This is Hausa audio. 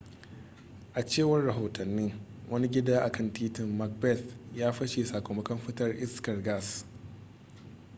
a cewar rahotanni wani gida a kan titin macbeth ya fashe sakamakon fitar iskar gas